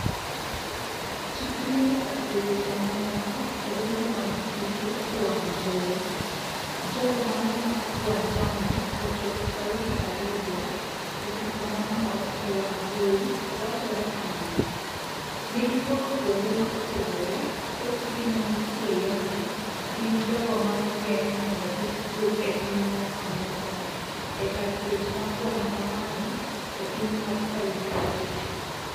chikri nyaka e weche mamoko e lendo mag tuke e wang jowi ,jogo manomak Guantanamo ochop Saudi Arabia ,e picha momor e wangjowi wachore kamano, negiwuok kuonde ma opogore thothgi manitie Yemen gin jogo manogeng mondo kik duog e piny mar Amerka e kar twech mar Guatamano e piny mar Saudi Arabia.